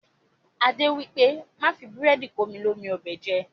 Adé wípé, Má fi búrẹ́dì komi ni omi ọbẹ̀ jẹ.